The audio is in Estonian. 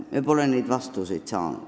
Me pole neid vastuseid saanud.